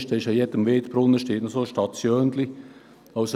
Bei jedem Wirtsbrunnen steht noch so eine kleine Station.